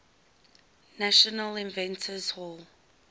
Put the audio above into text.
national inventors hall